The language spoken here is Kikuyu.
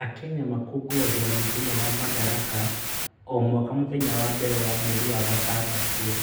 Akenya makũngũyagĩra Mũthenya wa Madaraka o mwaka mũthenya wa mbere wa mweri wa gatandatũ